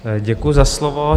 Děkuju za slovo.